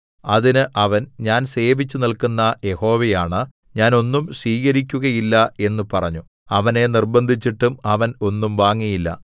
അതിന് അവൻ ഞാൻ സേവിച്ചുനില്ക്കുന്ന യഹോവയാണ ഞാൻ ഒന്നും സ്വീകരിക്കുകയില്ല എന്ന് പറഞ്ഞു അവനെ നിർബ്ബന്ധിച്ചിട്ടും അവൻ ഒന്നും വാങ്ങിയില്ല